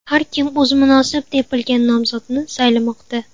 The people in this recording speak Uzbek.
Har kim o‘zi munosib deb bilgan nomzodni saylamoqda.